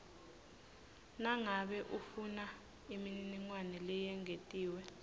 nangabe ufunaimininingwane leyengetiwe